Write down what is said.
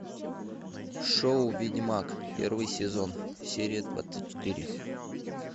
шоу ведьмак первый сезон серия двадцать четыре